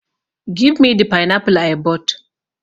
Give me the pineapple i bought!